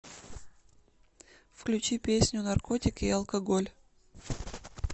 включи песню наркотики и алкоголь